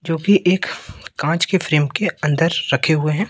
जोकि एक कांच की फ्रेम के अंदर रखे हुए हैं।